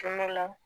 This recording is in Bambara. Kungo la